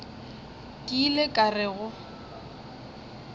ke ile ka re go